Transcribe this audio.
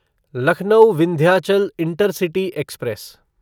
Lucknow Vindhyachal intercity express